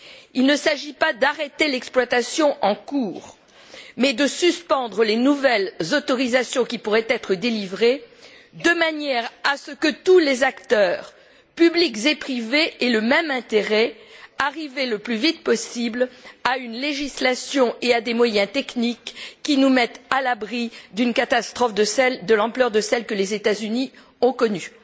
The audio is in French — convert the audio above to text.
Il ne s'agit pas d'arrêter l'exploitation en cours, mais de suspendre les nouvelles autorisations qui pourraient être délivrées de manière à ce que tous les acteurs publics et privés aient le même intérêt arriver le plus vite possible à une législation et à des moyens techniques qui nous mettent à l'abri d'une catastrophe de l'ampleur de celle que les États Unis ont connue.